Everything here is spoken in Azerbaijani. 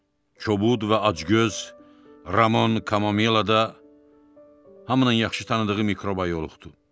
kobud və acgöz Ramon Kamomila da hamının yaxşı tanıdığı mikroba yoluxdu.